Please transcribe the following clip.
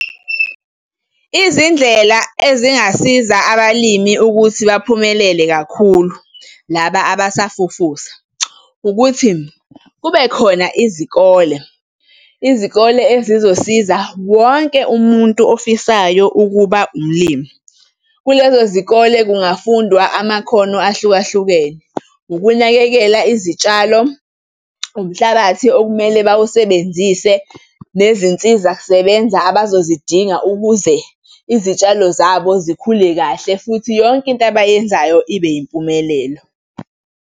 Izindlela ezingasiza abalimi ukuthi baphumelele kakhulu laba abasafufusa ukuthi, kube khona izikole, izikole ezizosiza wonke umuntu ofisayo ukuba umlimi. Kulezo zikole kungafundwa amakhono ahlukahlukene, ukunakekela izitshalo, umhlabathi okumele bawasebenzise, nezinsizakusebenza abazozidinga ukuze izitshalo zabo zikhule kahle futhi yonke into abayenzayo ibe yimpumelelo.